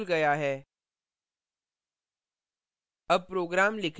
text editor खुल गया है